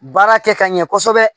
Baara kɛ ka ɲɛ kɔsɔbɛ